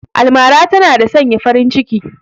Almara tana da sanya farin ciki